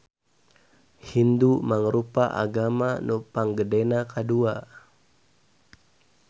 Hindu mangrupa agama nu panggedena kadua.